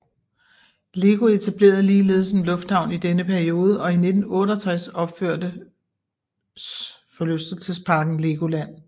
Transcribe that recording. LEGO etablerede ligeledes en lufthavn i denne periode og i 1968 opførte forlystelsesparken LEGOLAND